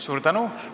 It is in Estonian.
Suur tänu!